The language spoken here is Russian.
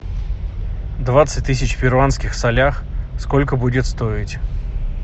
двадцать тысяч в перуанских солях сколько будет стоить